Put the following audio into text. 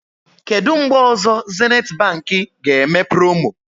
Kedụ mgbe ọzọ Zenith Baankị ga-eme promo?